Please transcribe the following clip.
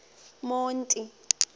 monti